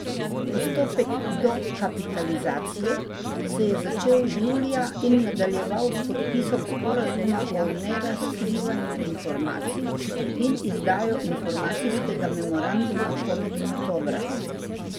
Postopek dokapitalizacije se je začel julija in nadaljeval s podpisom sporazuma o nerazkrivanju informacij in izdajo informacijskega memoranduma konec oktobra.